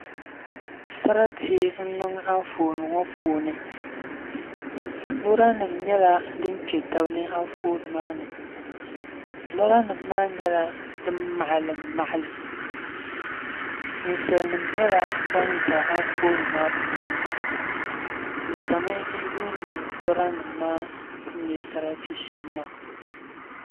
Sarati n niŋ anfooni ŋɔ puuni loori nim nyɛla din kpɛ tabi ni Anfooni maa ni lora nim maa nyɛla din maɣalim maɣalim ninsal nima nyɛla ban ʒɛ Anfooni maa puuni bi ʒɛmi n yuundi lora nim maa ni nyɛ sarati shɛm maa